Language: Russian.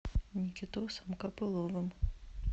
никитосом копыловым